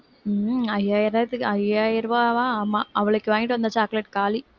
உம் ஐயாயிரத்துக்கு ஐயாயிரம் ரூபாவா ஆமா அவளுக்கு வாங்கிட்டு வந்த chocolate காலி